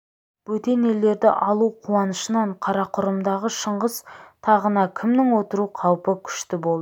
бөтен елдерді алу қуанышынан қарақұрымдағы шыңғыс тағына кімнің отыру қаупі күшті болды